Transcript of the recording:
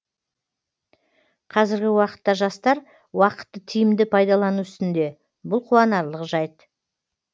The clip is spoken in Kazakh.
қазіргі уақытта жастар уақытты тиімді пайдалану үстінде бұл қуанарлық жайт